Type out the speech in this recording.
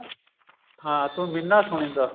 ਹਾਂ ਤੂੰ ਮਿੰਨਾ ਸੁਣੀਂਦਾ